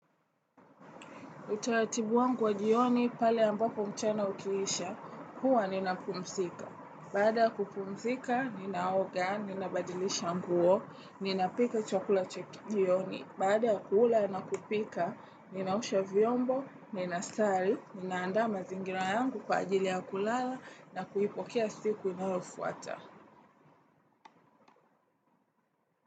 Utaratibu wangu wa jioni pale ambapo mchana ukiisha, huwa ninapumzika. Baada ya kupumzika, ninaoga, ninabadilisha nguo, ninapika chakula cha kijioni. Baada ya kula na kupika, ninaosha vyombo, ninasali, nina andaa mazingira yangu kwa ajili ya kulala na kuipokea siku inayofuata.